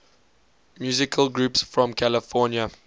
musical groups from california